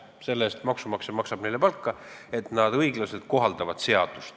Selle eest maksab maksumaksja talle palka, et ta õiglaselt seadust kohaldab.